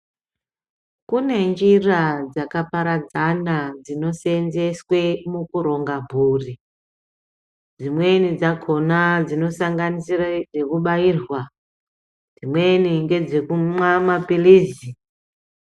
Kune njira dzakaparadzana dzinoseenzeswe mukuronga mburi. Dzimweni dzakona dzinosanganisire dzekubairwa, dzimweni ngedzekumwa maphilizi.